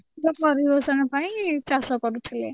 ପାଇଁ ଚାଷ କରୁଥିଲେ